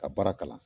Ka baara kalan